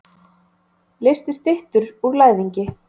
Leysti styttur úr læðingi.